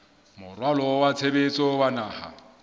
moralo wa tshebetso wa naha